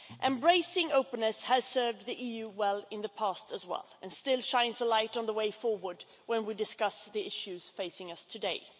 Embracing openness has served the EU well in the past, too, and still shines a light on the way forward as we discuss the issues facing us today.